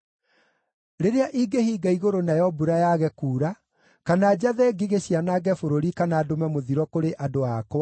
“Rĩrĩa ingĩhinga igũrũ nayo mbura yaage kuura, kana njathe ngigĩ cianange bũrũri kana ndũme mũthiro kũrĩ andũ akwa,